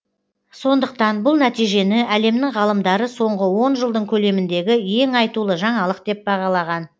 сондықтан бұл нәтижені әлемнің ғалымдары соңғы он жылдың көлеміндегі ең айтулы жаңалық деп бағалаған